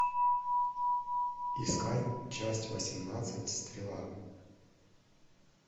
искать часть восемнадцать стрела